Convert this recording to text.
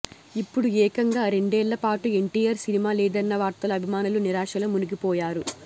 ఇప్పుడు ఏకంగా రెండేళ్లపాటు ఎన్టీఆర్ సినిమా లేదన్న వార్తలో అభిమానులు నిరాశలో మునిగిపోయారు